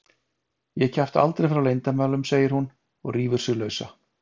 Ég kjafta aldrei frá leyndarmálum, segir hún og rífur sig lausa.